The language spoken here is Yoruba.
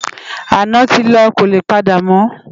Àná ti lò kólé pàdámò